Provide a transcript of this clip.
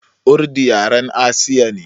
Urdu yaren Asiya ne.